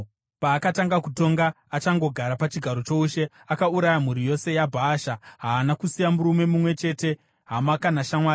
Paakatanga kutonga, achangogara pachigaro choushe, akauraya mhuri yose yaBhaasha. Haana kusiya murume mumwe chete, hama kana shamwari.